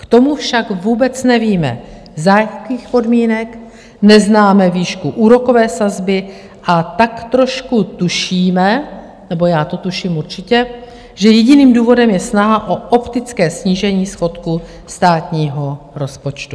K tomu však vůbec nevíme, za jakých podmínek, neznáme výšku úrokové sazby, a tak trošku tušíme, nebo já to tuším určitě, že jediným důvodem je snaha o optické snížení schodku státního rozpočtu.